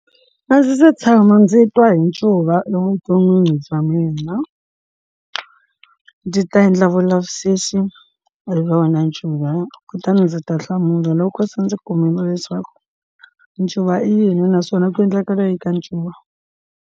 A ndzi se tshama ndzi twa hi ncuva evuton'wini bya mina ndzi ta endla vulavisisi eka wena ncuva kutani ndzi ta hlamula loko se ndzi kumile leswaku ncuva i yini naswona ku endleka leyi ka ncuva.